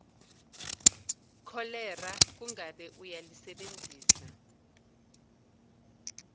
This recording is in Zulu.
kholera kungabe uyalisebenzisa